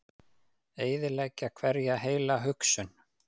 Eyðileggja hverja heila hugsun.